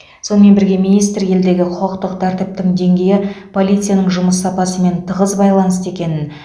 сонымен бірге министр елдегі құқықтық тәртіптің деңгейі полицияның жұмыс сапасымен тығыз байланысты екенін